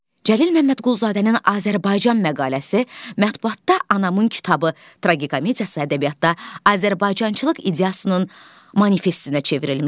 Cəlil Məmmədquluzadənin "Azərbaycan" məqaləsi, "Mətbəətdə Anamın kitabı" tragikomediyası ədəbiyyatda Azərbaycançılıq ideyasının manifestinə çevrilmişdi.